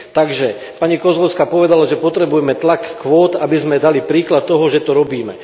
Takže, pani Kozłowska povedala, že potrebujeme tlak kvót, aby sme dali príklad toho, že to robíme.